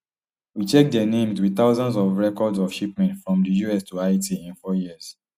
we check dia names wit thousands of records of shipments from di us to haiti in four years